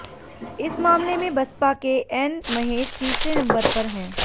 इस मामले में बसपा के एन महेश तीसरे नंबर पर हैं